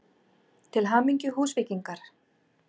Til hamingju Húsvíkingar!!